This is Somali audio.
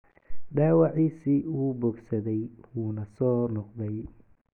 Dhaawaciisii ​​wuu bogsaday wuuna soo noqday.